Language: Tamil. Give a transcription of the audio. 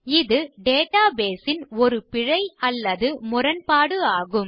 இது டேட்டாபேஸ் ன் ஒரு பிழை அல்லது முரண்பாடு ஆகும்